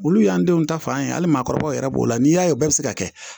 Olu y'an denw ta fan ye hali maakɔrɔbaw yɛrɛ b'o la n'i y'a ye bɛɛ be se ka kɛ